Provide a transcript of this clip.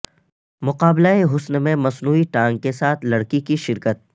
مقابلہ حسن میں مصنوعی ٹانگ کیساتھ لڑکی کی شرکت